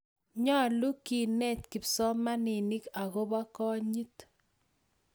nyoluu kenet kipsomaninik akobo konyit